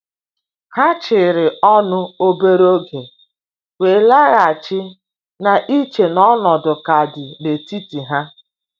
Ha chịrị ọnụ obere oge, wee laghachi na iche n’ọnọdụ ka dị n’etiti ha.